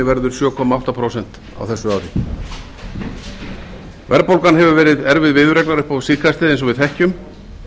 verður sjö komma átta prósent á þessu ári verðbólgan hefur verið erfið viðureignar upp á síðkastið eins og við þekkjum